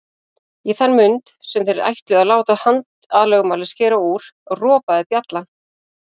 Í þann mund sem þeir ætluðu að láta handalögmálið skera úr, ropaði bjallan.